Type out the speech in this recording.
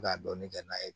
Ka dɔɔnin kɛ n'a ye